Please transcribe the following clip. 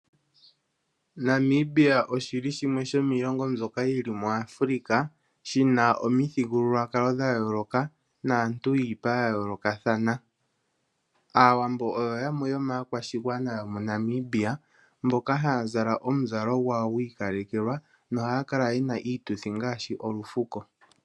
Namibia oshili shimwe shomiilongo mbyoka yili muAfrika, shina omithigululwakalo dha yooloka naantu yiipa ya yoolokathana. Aawambo oyo yamwe yoomakwashigwana yomoNamibia mboka haya zala omuzalo gwawo gwi ikalekelwa nohaya kala yena iituthi ngaashi olufuko.